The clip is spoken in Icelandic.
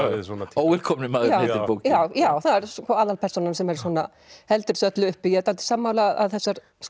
óvelkomni maðurinn heitir bókin já það er aðalpersónan sem heldur þessu öllu uppi ég er dálítið sammála að þessar